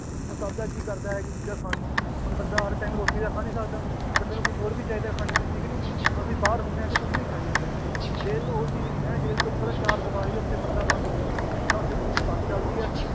ਉਹ ਸਭ ਦਾ ਜੀਅ ਕਰਦਾ ਇਹ ਜਿਹੀ ਚੀਜ਼ਾਂ ਖਾਣ ਨੂੰ ਹੁਣ ਬੰਦਾ ਹਰ time ਰੋਟੀ ਤਾਂ ਖਾ ਨੀ ਸਕਦਾ ਬੰਦੇ ਨੂੰ ਕੁਛ ਹੋਰ ਵੀ ਚਾਹੀਦਾ ਹੈ ਖਾਣੇ ਨੂੰ ਠੀਕ ਨੀ, ਹੁਣ ਅਸੀਂ ਬਾਹਰ ਹੁੰਦੇ ਹਾਂ ਅਸੀਂ ਕੁਛ ਵੀ ਖਾਈ ਜਾਂਦੇ ਹਾਂ, ਹੁਣ ਜੇਲ੍ਹ ਉਹ ਚੀਜ਼ ਨੀ ਨਾ ਹੈ ਜੇਲ੍ਹ ਤੁਹਾਨੂੰ ਪਤਾ ਚਾਰ ਦੀਵਾਰੀ ਹੈ ਉੱਥੇ ਬੰਦਾ ਬੰਦ ਹੁੰਦਾ ਹੈ ਨਾ ਉੱਥੇ ਕਿਸੇ ਦੀ ਬਸ ਚੱਲਦੀ ਹੈ